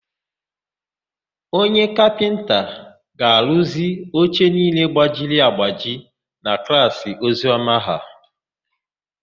Onye kapịnta ga-arụzi oche niile gbajiri agbaji na klaasị Oziọma ha.